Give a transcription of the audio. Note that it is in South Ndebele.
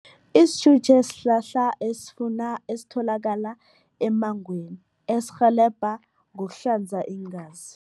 Isitjutje sihlahla esifuna, esitholakala emmangweni esirhelebha ngokuhlanza iingazi.